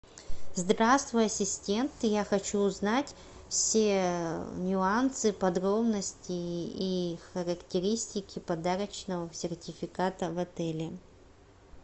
здравствуй ассистент я хочу узнать все нюансы подробности и характеристики подарочного сертификата в отеле